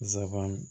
Zaban